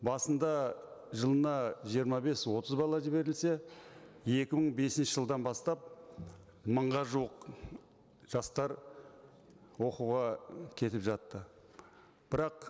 басында жылына жиырма бес отыз бала жіберілсе екі мың бесінші жылдан бастап мыңға жуық жастар оқуға кетіп жатты бірақ